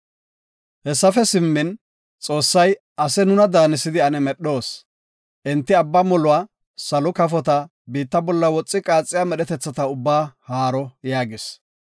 Hessafe simmin, Xoossay, “Ase nuna daanisidi ane medhoos. Enti abba moluwa, salo kafota, biitta bolla woxi qaaxiya medhetetha ubbaa haaro” yaagis.